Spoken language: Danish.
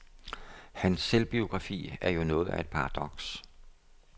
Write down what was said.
Hans selvbiografi er jo noget af et paradoks.